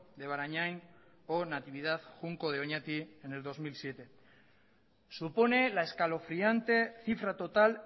de barañain o natividad junco de oñati en el bi mila zazpi supone la escalofriante cifra total